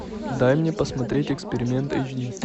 дай мне посмотреть эксперимент эйч ди